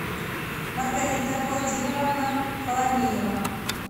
маргарита владимировна фоломеева